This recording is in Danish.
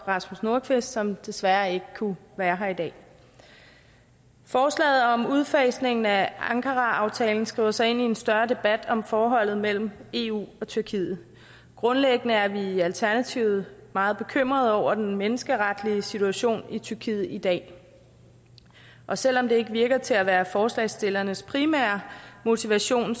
rasmus nordqvist som desværre ikke kunne være her i dag forslaget om udfasningen af ankaraaftalen skriver sig ind i en større debat om forholdet mellem eu og tyrkiet grundlæggende er vi i alternativet meget bekymrede over menneskerettighedssituationen i tyrkiet i dag og selv om det ikke virker til at være forslagsstillernes primære motivation